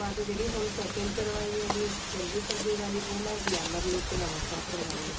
ਬਾਅਦ ਜਿਹੜੀ ਹੁਣ second ਕਰਵਾਈ ਹੈਗੀ ਜਨਵਰੀ ਫ਼ਰਵਰੀ ਵਾਲੀ ਉਹ ਮੈਂ glamour look ਨਵਾ ਸ਼ਹਿਰ ਕਰਵਾਈ ਏ